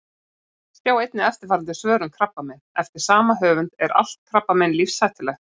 Sjá einnig eftirfarandi svör um krabbamein: Eftir sama höfund Er allt krabbamein lífshættulegt?